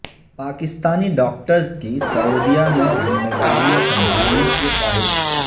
Pakistani doctors کی سعودیہ میں ذمہ داریاں سنبھالنے کی خواہش